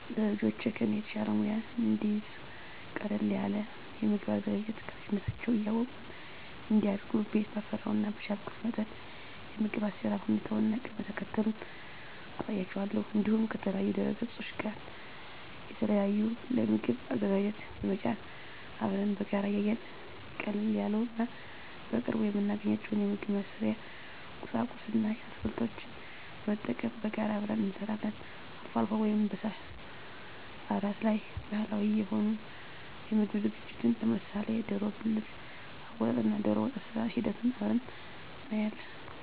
ለልጆቼ ከኔ የተሻለ ሙያ እንዲይዙ ቀለል ያለ የምግብ አዘገጃጀት ከልጅነታቸው እያወቁ እንዲያድጉ ቤት ባፈራው እና በቻልኩት መጠን የምግብ አሰራር ሁኔታውን እና ቅደም ተከተሉን አሳያቸዋለሁ። እንዲሁም ከተለያዩ ድህረገጾች ላይ የተለያዩ የምግብ አዘገጃጀት በመጫን አብረን በጋራ እያየን ቀለል ያሉ እና በቅርቡ የምናገኛቸውን የምግብ መስሪያ ቁሳቁስ እና አትክልቶችን በመጠቀም በጋራ አብረን እንሰራለን። አልፎ አልፎ ወይም በአላት ላይ ባህላዊ የሆኑ የምግብ ዝግጅቶችን ለምሳሌ ደሮ ብልት አወጣጥ እና ደሮወጥ አሰራር ሂደቱን አብረን እናያለን።